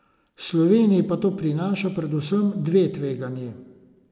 Sloveniji pa to prinaša predvsem dve tveganji.